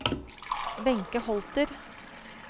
Wenche Holter